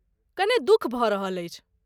कने दुख भऽ रहल अछि।